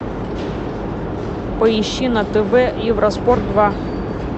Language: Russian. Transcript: поищи на тв евроспорт два